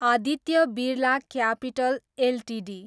Aditya Birla capital Ltd